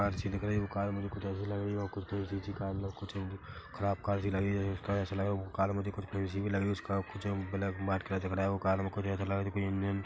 car सी लग रही है वो कार मुझे कुछ ऐसी भी लग रही है वो कुछ अच्छी -अच्छी कार कुछ खराब कार सी लग रही उसका ऐसे लगा वो कार मुझे कुछ उसका कुछ बनाया वो कार में ऐसे लगा कुछ इंजन--